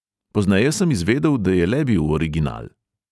Pozneje sem izvedel, da je le bil original.